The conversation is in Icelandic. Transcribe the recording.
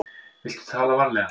Viltu tala varlega.